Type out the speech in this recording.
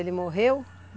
Ele morreu?